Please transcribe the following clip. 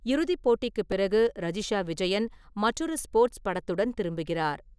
இறுதிப் போட்டிக்குப் பிறகு, ரஜிஷா விஜயன் மற்றொரு ஸ்போர்ட்ஸ் படத்துடன் திரும்புகிறார்.